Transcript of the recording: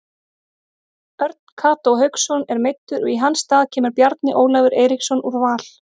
Örn Kató Hauksson er meiddur og í hans stað kemur Bjarni Ólafur Eiríksson úr Val.